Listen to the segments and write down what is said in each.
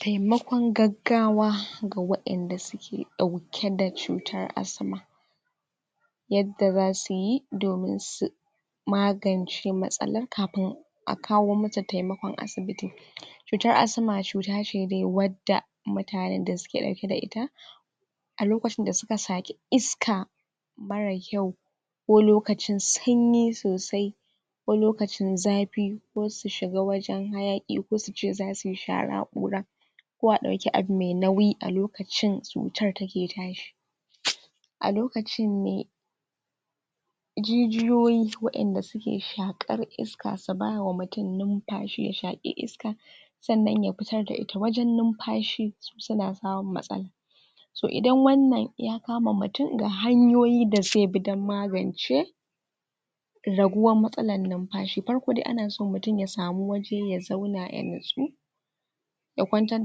taimakon gaggawa ga wa'inda suke ɗauke da cutar asma yadda zasuyi domin su magance matsalar kafin a kawo mata taimakon asibiti cutar asma cuta ce dai wadda mutanen da suke ɗauke da ita a lokacin da suka shaƙi iska mara kyau ko lokacin sanyi sosai ko lokacin zafi ko su shiga wajen hayaƙi ko suce zasuyi shara ƙura ko a ɗauki abu mai nauyi a lokacin cutar take tashi a lokacinne jijiyoyi wa'inda suke shaƙar iska su ba wa mutum lumfashi ya shaƙi iska sannan ya fitar da ita wajen numfashi suna samun matsala so idan wannan ya kama mutum ga hanyoyi da zaibi don magance raguwar matsalar lumfashi farko dai ana so mutum ya samu waje ya zaun ya natsu ya kwantar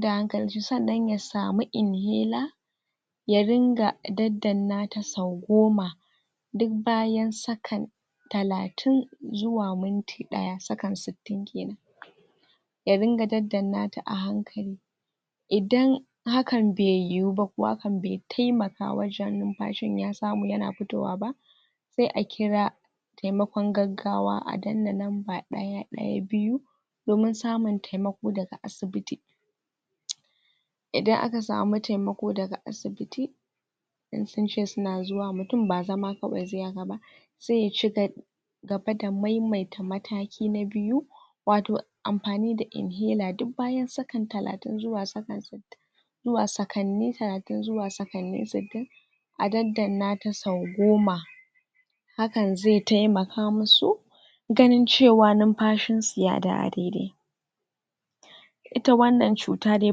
da hankalin shi sannan ya samu inhela ya ringa daddanna ta sau goma duk bayan sakan talatin zuwa minti ɗaya sakan sittin kenan ya ringa daddanna ta a hankali idan hakan bai yiwu ba ko hakan bai taimaka wajen lumfashin ya samu yana fitowa ba sai a kira taimakon gaggawa a dannan namba ɗaya ɗaya biyu domin samun taimako daga asibiti. idan aka samu taimako daga asibiti in sunce suna zuwa mutum ba zama kawai zaiyi haka ba zai cika gaba da maimaita mataki na biyu wato amfani da inhela duk bayan sakan talatin zuwa sakan zuwa sakanni talati zuwa sakanni sittin a daddanna ta sau goma hakan zai taimaka musu ganin cewa numfashinsu ya dawo dai-dai ita wannan cuta dai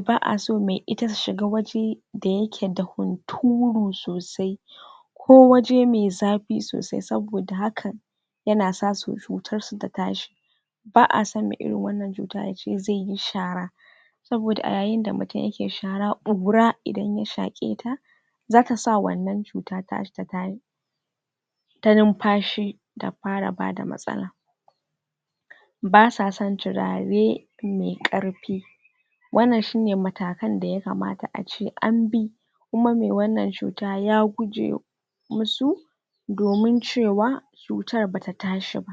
ba'a so mai ita su shiga waje da yake da hunturu sosai ko waje mai zafi sosai saboda hakan yana sa cutar su ta tashi ba'ason mai irin wannan cuta yace zaiyi shara saboda a yayin da mutum yake shara ƙura idan ya shaƙe ta zakasa wannan cuta taka ta tashi ta numfashi ta fara bada matsala basa son turare mai ƙarfi wannan sune matakan da ya kamata ace anbi kuma mai wannan cuta ya guje musu domin cewa cutar bata tashi ba.